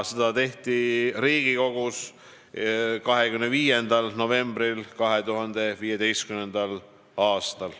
Seda tehti Riigikogus 25. novembril 2015. aastal.